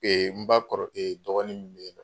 n ba kɔrɔ dɔgɔnin min be yen nɔ